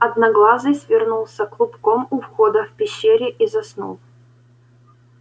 одноглазый свернулся клубком у входа в пещере и заснул